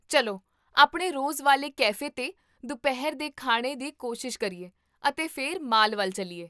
ਚੱਲੋਆਪਣੇ ਰੋਜ਼ ਵਾਲੇ ਕੈਫੇ 'ਤੇ ਦੁਪਹਿਰ ਦੇ ਖਾਣੇ ਦੀ ਕੋਸ਼ਿਸ਼ ਕਰੀਏ ਅਤੇ ਫਿਰ ਮਾਲ ਵੱਲ ਚੱਲੀਏ?